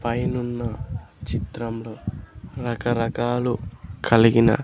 పైనున్న చిత్రం లో రకరకాలు కలిగిన.